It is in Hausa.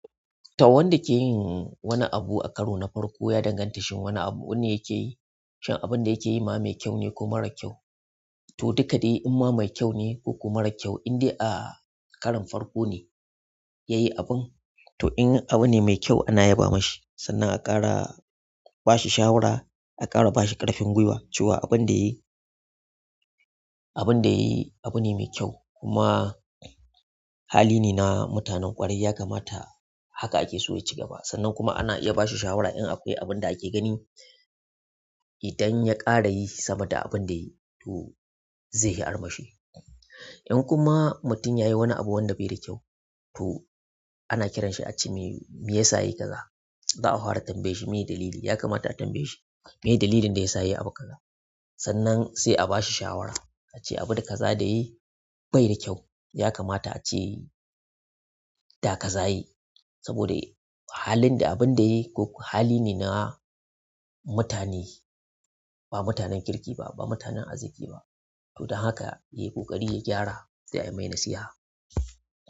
To wanda ke yin wani abu a karo na farko ya danganta shin wani abu wanda ya ke yi? Shin abunda yake yi ma mai kyau ne ko mara kya? To duka dai in ma mai kyau ne koko mara kyau, indai a karin farko ne ya yi abun. To in abun ne mai kyau ana yaba ma shi sannan a ƙara ba shi shawara, a ƙara ba shi ƙarfin gwiwa cewa abun da yayi--abun da yayi abu ne mai kyau. Kuma hali ne na mutanen ƙwarai, ya kamata haka ake so ya ci gaba. Sannan kuma ana iya ba shi shawara in akwai abun da ake gani idan ya ƙara yi sama da abun da yayi to zai ga armashi in kuma mutum ya yi wani abu wanda bai da kyau, to ana kiran shi a ce mai me ya sa ya yi ka za. Za'a fara tambayan shi me ye dalili, ya kamata a tambaye shi me ye dalilin da ya sa ya yi abu ka za. Sannan sai a ba shi shawara a ce abun da ka za da yayi bai da kyau. Ya kamata a ce, da ka za ya yi saboda halin da abun da yayi koko hali ne na mutane ba mutanen kirki ba, ba mutanen arziki ba. To don haka yayi ƙoƙari ya gyara sai a yi mai nasiha.